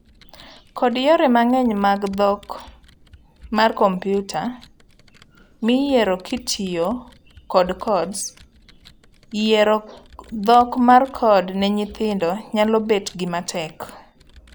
Kod yore mang'eny mag dhok mar kompiuta, miyiero kitiyo kod codes, yiero dhok mar code ne nyithindo nyalo bet gima tek.